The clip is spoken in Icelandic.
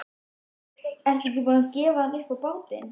Ertu ekki búin að gefa hann upp á bátinn?